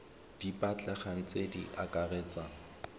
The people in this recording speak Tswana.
di batlegang tse di akaretsang